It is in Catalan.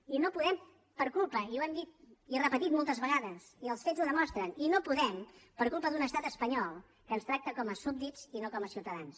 i no podem per culpa i ho hem dit i repetit moltes vegades i els fets ho demostren d’un estat espanyol que ens tracta com a súbdits i no com a ciutadans